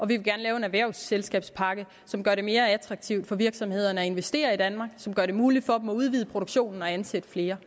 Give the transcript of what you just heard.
vil gerne lave en erhvervsselskabspakke som gør det mere attraktivt for virksomhederne at investere i danmark og som gør det muligt for dem at udvide produktionen og ansætte flere